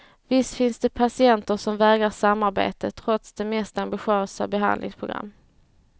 Visst finns det patienter som vägrar samarbete trots det mest ambitiösa behandlingsprogram.